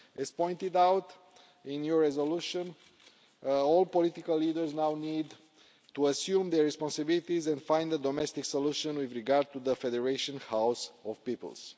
As pointed out in your resolution, all political leaders now need to assume their responsibilities and find a domestic solution with regard to the Federation House of Peoples.